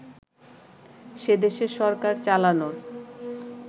সেদেশের সরকার চালানোর